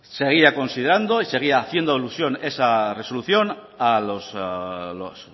seguía considerando y seguía haciendo alusión esa resolución a los